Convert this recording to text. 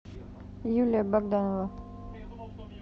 юлия богданова